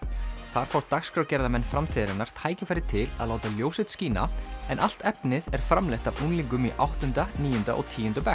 þar fá dagskrárgerðarmenn framtíðarinnar tækifæri til að láta ljós sitt skína en allt efnið er framleitt af unglingum í áttunda níunda og tíunda bekk